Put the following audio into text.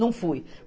Não fui.